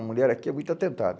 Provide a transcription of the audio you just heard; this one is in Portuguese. A mulher aqui é muito atentada.